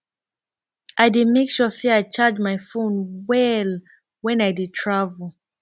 i dey make sure sey i charge my fone well wen i dey travel